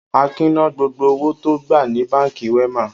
Akin ná gbogbo owó tó gbà ní Báńkì Wema?